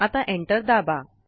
आता Enter दाबा